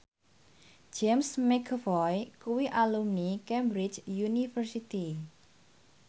James McAvoy kuwi alumni Cambridge University